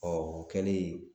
o kɛlen